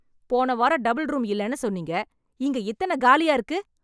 போன வாரம் double room இல்லனு சொன்னீங்க. இங்கே இத்தனக் காலியா இருக்கு?